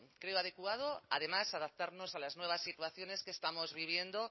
creo adecuado además adaptarnos a las nuevas situaciones que estamos viviendo